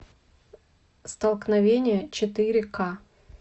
столкновение четыре ка